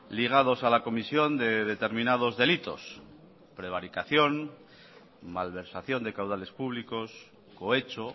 ligados a la comisión de determinados delitos prevaricación malversación de caudales públicos cohecho